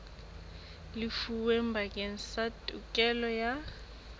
lefuweng bakeng sa tokelo ya